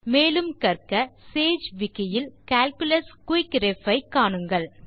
மேலும் கற்க Sage wiki இல் கால்குலஸ் quick ரெஃப் ஐ காணுங்கள்